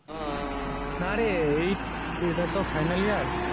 না রে এই এটা তো ফাইনাল ইয়ার